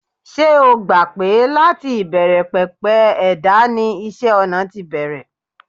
Ṣé o gbà pé láti ìbẹ̀rẹ̀pẹ̀pẹ̀ ẹ̀dá ni isẹ́-ọnà ti bẹ̀rẹ̀?